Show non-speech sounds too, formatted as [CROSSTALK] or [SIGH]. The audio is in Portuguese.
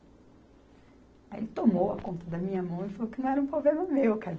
Aí ele tomou a conta da minha mão e falou que não era um problema meu [UNINTELLIGIBLE]